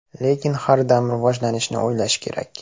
Lekin har dam rivojlanishni o‘ylash kerak.